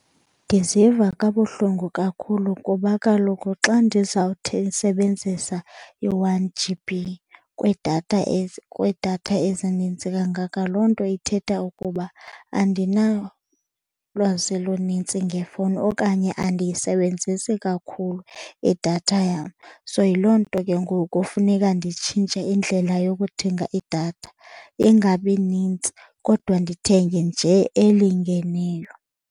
Ndiziva kabuhlungu kakhulu kuba kaloku xa ndizawusebenzisa i-one G_B kwiidatha, kwiidatha ezininzi kangaka loo nto ithetha ukuba andinalwazi lununzi ngefowuni okanye andiyisebenzisi kakhulu idatha yam. So, yiloo nto ke ngoku funeka nditshintshe indlela yokuthenga idatha, ingabi nintsi kodwa ndithenge nje elingeneyo.